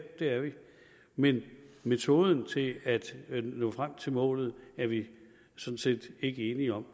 det er vi men metoden til at at nå frem til målet er vi sådan set ikke enige om